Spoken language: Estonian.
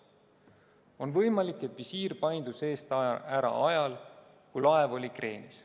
On võimalik, et visiir paindus eest ära ajal, kui laev oli kreenis.